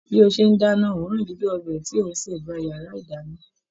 Bí ó ṣe ń dáná, òòrùn dídùn ọbẹ̀ tí ó ń sè gba yàrá ìdáná.